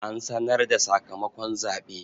An sanar da sakamakon zaɓe.